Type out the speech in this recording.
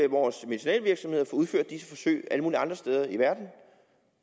vores medicinalvirksomheder få udført de her forsøg alle mulige andre steder i verden